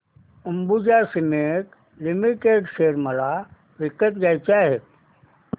Ambuja cement limited share मला विकत घ्यायचे आहेत